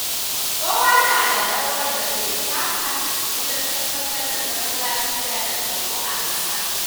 Kowa na da rawar da zai taka wajen tabbatar da zaman lafiya da tsaro a ƙasa.